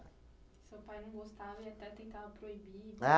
Seu pai não gostava, ele até tentava proibir.